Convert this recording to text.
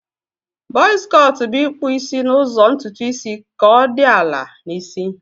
Buzz cọt bu ikpụ isi na ụzọ ntutu isi ka odi ala na isi.